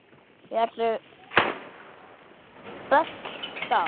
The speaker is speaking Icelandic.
Eru böll þar?